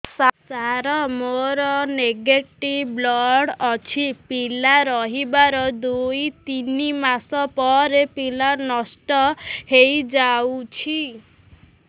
ସାର ମୋର negative blood ଅଛି ପିଲା ରହିବାର ଦୁଇ ତିନି ମାସ ପରେ ପିଲା ନଷ୍ଟ ହେଇ ଯାଉଛି